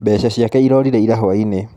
Mbeca ciake irorire ira hwainĩ.